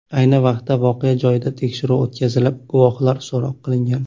Ayni vaqtda voqea joyida tekshiruv o‘tkazilib, guvohlar so‘roq qilingan.